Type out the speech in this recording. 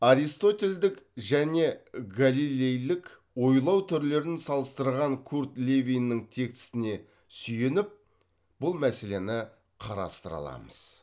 аристотельдік және галилейлік ойлау түрлерін салыстырған курт левиннің текстіне сүйеніп бұл мәселені қарастыра аламыз